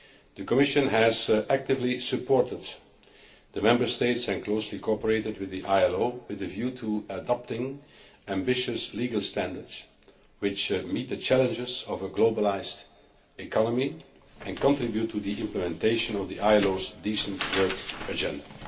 The Commission has actively supported the Member States and closely cooperated with the ILO with a view to adopting ambitious legal standards which meet the challenges of a globalised economy and contribute to the implementation of the ILO's Decent Work Agenda.